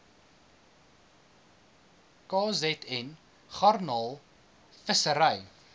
kzn garnaal visserye